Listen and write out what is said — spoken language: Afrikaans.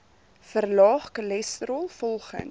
verlaag cholesterol volgens